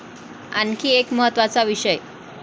आणखी एक महत्त्वाचा विषय.